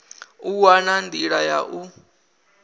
u wana nḓila ya u